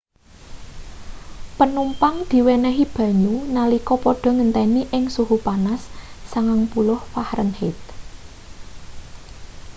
panumpang diwenehi banyu nalika padha ngenteni ing suhu panas 90f